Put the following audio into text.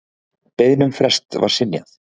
Beiðni um frest var synjað.